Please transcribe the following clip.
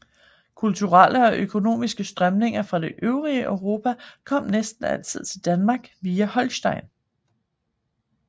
Kulturelle og økonomiske strømninger fra det øvrige Europa kom næsten altid til Danmark via Holsten